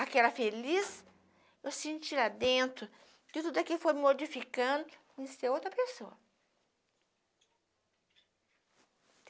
Aquela feliz, eu senti lá dentro que tudo aqui foi modificando em ser outra pessoa.